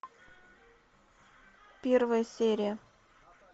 первая серия